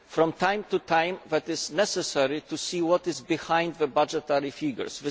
From time to time it is necessary to see what lies behind the budgetary figures.